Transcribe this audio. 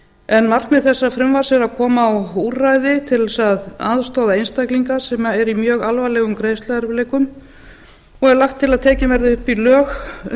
en markmið þessa frumvarps er að koma á úrræði til þess að aðstoða einstaklinga sem eru í mjög alvarlegum greiðsluerfiðleikum og er lagt til að tekin verði upp í lög um